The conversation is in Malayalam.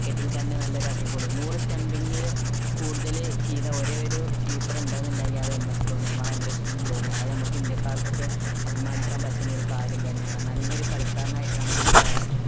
wicket ൽ തന്നെ നല്ല അടിപൊളി നൂർ stumping ൽ കൂടുതൽ ചെയ്ത നല്ല ഒരു keeper ഉണ്ടെന്നുണ്ടെങ്കിൽ അത് MS ധോണിയാണ് മഹേന്ദ്ര സിംഗ് ധോണിയാണ്ത് നമ്മക് ഇന്ത്യക്കാർക്ക് ഒക്കെ അഭിമാനിക്കാൻ പറ്റുന്ന നല്ല ഒരു കാര്യം തന്നെയാണ് നല്ല ഒരു കളിക്കാരൻ ആയിട്ടാണ് എനിക്ക് ആ